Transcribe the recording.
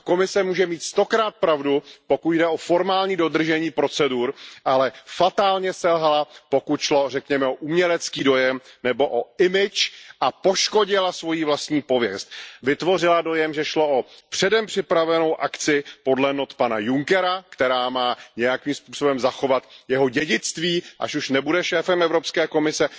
A Komise může mít stokrát pravdu, pokud jde o formální dodržení procedur, ale fatálně selhala, pokud šlo, řekněme, o umělecký dojem nebo o image a poškodila svoji vlastní pověst. Vytvořila dojem, že šlo o předem připravenou akci podle not pana Junckera, která má nějakým způsobem zachovat jeho dědictví, až už nebude šéfem Evropské komise.